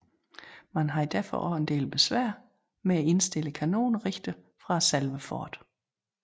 Man havde derfor også en del besvær med at indstille kanonerne rigtig fra selve fortet